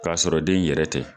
Ka sɔrɔ den yɛrɛ tɛ.